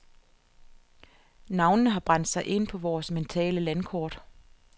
Navnene har brændt sig ind på vores mentale landkort.